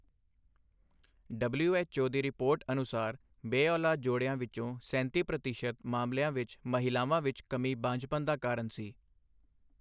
WHO ਦੀ report ਅਨੁਸਾਰ ਬੇਔਲਾਦ ਜੋੜਿਆਂ ਵਿੱਚੋਂ ਸੈਂਤੀ ਪ੍ਰਤੀਸ਼ਤ ਮਾਮਲਿਆਂ ਵਿੱਚ ਮਹਿਲਾਵਾਂ ਵਿੱਚ ਕਮੀ ਬਾਂਝਪਨ ਦਾ ਕਾਰਨ ਸੀ।